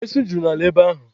Esu juru n'ala ebe ahụ.